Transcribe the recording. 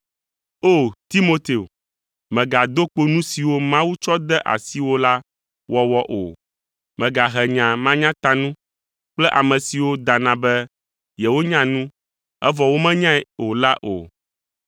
O, Timoteo, mègado kpo nu siwo Mawu tsɔ de asiwò la wɔwɔ o. Mègahe nya manyatanu kple ame siwo dana be yewonya nu, evɔ womenyae o la o.